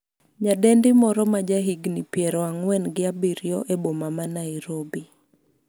nyadendi moro maja higni piero ang'wen gi abiriyo e boma ma Nairobi